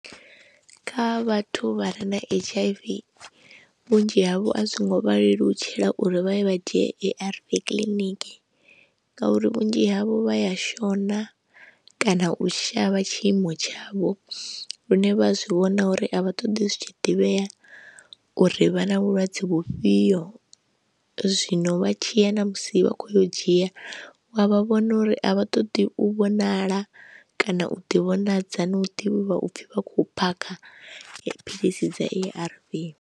Kha vhathu vha re na H_I_V vhunzhi havho a zwi ngo vha lelutshela uri vha ye vha dzhie A_R_V kiḽiniki ngauri vhunzhi havho vha ya shona kana u shavha tshiimo tshavho lune vha zwi vhona uri a vha ṱoḓi zwi tshi ḓivhea uri vha na vhulwadze vhufhio. Zwino vha tshi ya na musi vha khou yo u dzhia wa vha vhona uri a vha ṱoḓi u vhonala kana u ḓivhonadza no ḓivhiwa u pfhi vha khou phakha dziphilisi dza A_R_V.